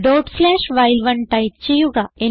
dot slash വൈൽ1 type ചെയ്യുക